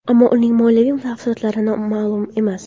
Ammo uning moliyaviy tafsilotlari ma’lum emas.